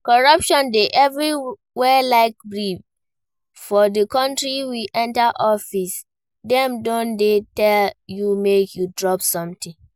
Corruption dey everywhere like breeze for the country, you enter office dem don dey tell you make you drop something